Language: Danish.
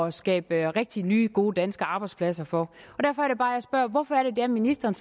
at skabe rigtige nye gode danske arbejdspladser for derfor er det bare jeg spørger hvorfor er det at ministeren